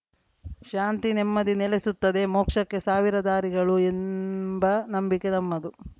ಶಾಂತಿನೆಮ್ಮದಿ ನೆಲೆಸುತ್ತದೆ ಮೋಕ್ಷಕ್ಕೆ ಸಾವಿರ ದಾರಿಗಳು ಎಂಬ ನಂಬಿಕೆ ನಮ್ಮದು